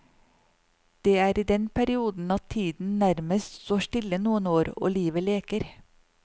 Det er i den perioden at tiden nærmest står stille noen år og livet leker.